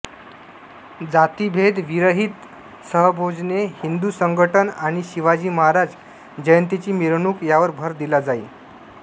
जातिभेद विरहित सहभोजने हिंदू संघटन आणि शिवाजी महाराज जयंतीची मिरवणूक यावर भर दिला जाई